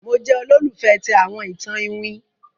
Mo jẹ olólùfẹ̀ ti àwọn itan Iwin.